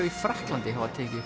í Frakklandi hafa tekið